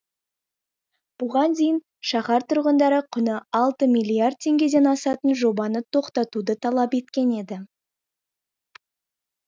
бұған дейін шаһар тұрғындары құны алты миллиард теңгеден асатын жобаны тоқтатуды талап еткен еді